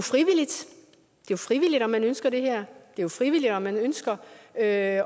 er frivilligt om man ønsker det her det er frivilligt om man ønsker at